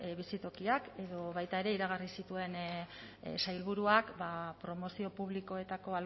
bizitokiak edo baita ere iragarri zituen sailburuak promozio publikoetako